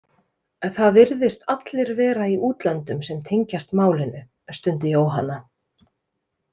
Það virðist allir vera í útlöndum sem tengjast málinu, stundi Jóhanna.